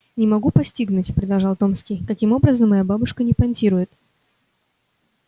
не могу постигнуть продолжал томский каким образом моя бабушка не понтирует